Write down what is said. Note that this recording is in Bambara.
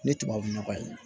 Ne tubabu nɔgɔ ye